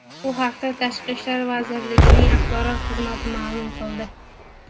Bu haqda Tashqi ishlar vazirligining axborot xizmati ma’lum qildi .